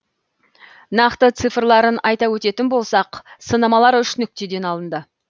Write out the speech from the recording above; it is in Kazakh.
нақты цифрларын айта өтетін болсақ сынамалар үш нүктеден алынды